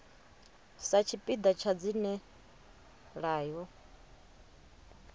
sa tshipiḓa tsha dzina ḽayo